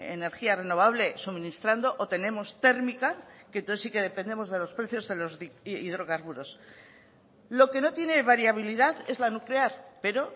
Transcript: energía renovable suministrando o tenemos térmica que entonces sí que dependemos de los precios de los hidrocarburos lo que no tiene variabilidad es la nuclear pero